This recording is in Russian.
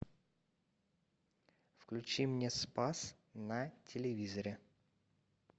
включи мне спас на телевизоре